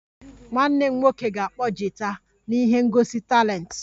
Nwanne m nwoke ga-akpọ gita na ihe ngosi talenti